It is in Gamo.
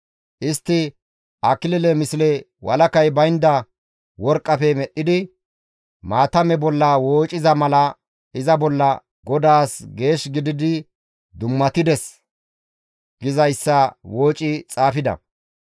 Istti akilile misle walakay baynda worqqafe medhdhidi maatame bolla woociza mala iza bolla, «GODAAS geesh gididi dummatides» gizayssa wooci xaafida.